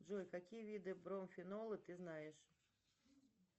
джой какие виды бромфенола ты знаешь